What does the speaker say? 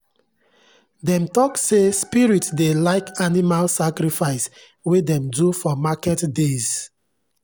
dem talk say spirits dey like animal sacrifice wey dem do for market days.